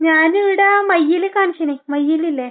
ഞാൻ ഇവിടെ മയ്യിലിൽ കാണിച്ചിനി. മയ്യിൽ ഇല്ലേ?